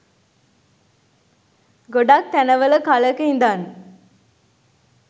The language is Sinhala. ගොඩක් තැන වල කාලෙක ඉඳන්